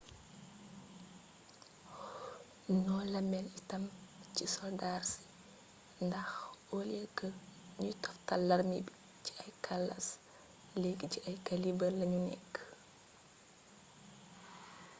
noo la mel itam ci soldaar si ndax oliyee kë ñuy toftale larmé bi ci ay kalaas léegi ci ay kaliibër lañu nekk